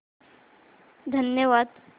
धन्यवाद